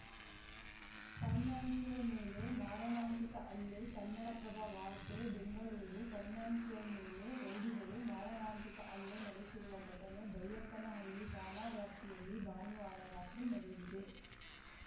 financier ಮೇಲೆ ಮಾರಣಾಂತಿಕ ಹಲ್ಲೆ ಕನ್ನಡಪ್ರಭ ವಾರ್ತೆ ಬೆಂಗಳೂರು ಫೈನಾನ್ಸಿಯರ್‌ ಮೇಲೆ ರೌಡಿಗಳು ಮಾರಣಾಂತಿಕ ಹಲ್ಲೆ ನಡೆಸಿರುವ ಘಟನೆ ಬೈಯಪ್ಪನಹಳ್ಳಿ ಠಾಣಾ ವ್ಯಾಪ್ತಿಯಲ್ಲಿ ಭಾನುವಾರ ರಾತ್ರಿ ನಡೆದಿದೆ